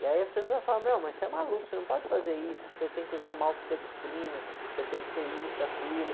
E aí as pessoas falam, meu, mas você é maluco, você não pode fazer isso, você tem que usar maltodextrina, você tem que ter isso e aquilo.